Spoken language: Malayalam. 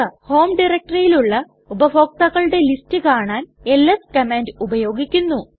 ഹോം ഡയറക്ടറിയിലുള്ള ഉപഭോക്താക്കളുടെ ലിസ്റ്റ് കാണാൻ എൽഎസ് കമാൻഡ് ഉപയോഗിക്കുന്നു